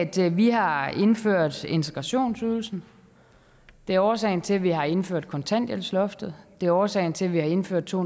til at vi har indført integrationsydelsen det er årsagen til at vi har indført kontanthjælpsloftet det er årsagen til at vi har indført to